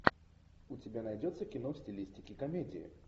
у тебя найдется кино в стилистике комедии